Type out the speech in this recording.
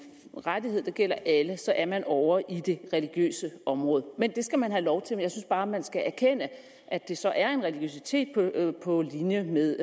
rettighed der gælder alle så er man ovre i det religiøse område og det skal man have lov til at jeg synes bare man skal erkende at det så er en religiøsitet på linje med